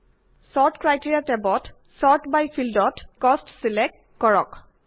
sort criteria টেবত sort by ফিল্ডত cost select কৰক